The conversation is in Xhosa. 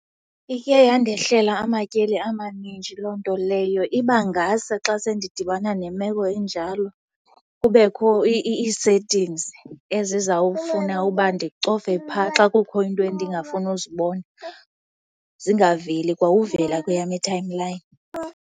Ike yandehlela amatyeli amaninji loo nto leyo. Iba ngase xa se ndidibana nemeko enjalo kubekho ii-settings ezizawufuna uba ndicofe phaa xa kukho iinto endingafuni uzibona zingaveli kwa uvela kweyam i-timeline.